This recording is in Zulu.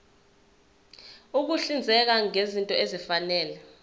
ukuhlinzeka ngezinto ezifanele